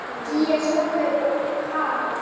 Gígja Sólveig og Harald.